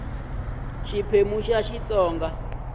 xiphemu xa ii xitsonga xitsonga